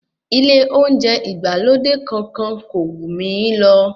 Ilé oúnjẹ ìgbàlódé kankan kò wù mí lọ.